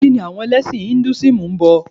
Kíni àwọn ẹlẹ́sìn Ìnduísímù Induísímù ń bọ?